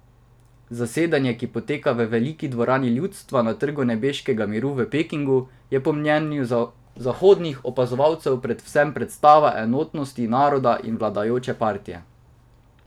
Zasedanje, ki poteka v Veliki dvorani ljudstva na Trgu nebeškega miru v Pekingu, je po mnenju zahodnih opazovalcev predvsem predstava enotnosti naroda in vladajoče partije.